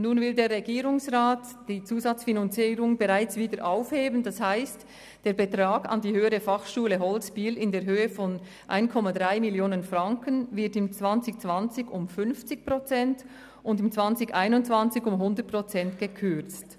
Nun will der Regierungsrat die Zusatzfinanzierung bereits wieder aufheben, das heisst, der Betrag an die HF Holz in Biel in der Höhe von 1,3 Mio. Franken wird im Jahr 2020 um 50 Prozent, und im Jahr 2021 um 100 Prozent gekürzt.